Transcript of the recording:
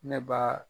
Ne ba